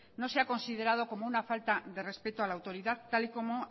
no sea considerado como una falta de respeto a la autoridad tal y como